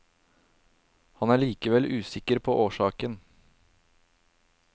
Han er likevel usikker på årsaken.